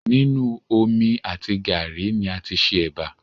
Nínu omi àti gàárì ni a tí ṣe ẹbà